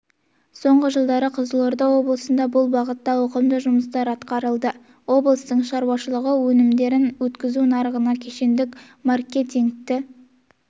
соңғы жылдары қызылорда облысында бұл бағытта ауқымды жұмыстар атқарылды облыстың ауылшаруашылығы өнімдерін өткізу нарығына кешендік маркетингтік